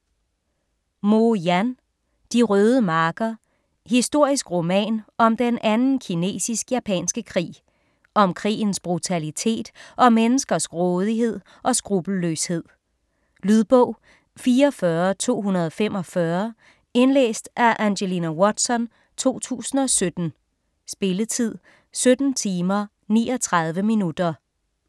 Mo, Yan: De røde marker Historisk roman om den anden kinesisk-japanske krig. Om krigens brutalitet og menneskers grådighed og skruppelløshed. Lydbog 44245 Indlæst af Angelina Watson, 2017. Spilletid: 17 timer, 39 minutter.